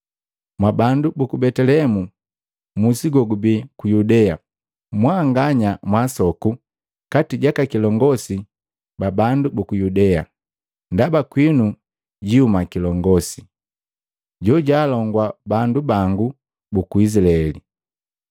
‘Mwabandu buku Betelehemu musi gogubii ku Yudea, mwanganya mwaasoku kati jaka kilongosi ba bandu buku Yudea, ndaba kwinu jiihuma kilongosi, jojaalongua bandu bangu buku Izilaeli.’ ”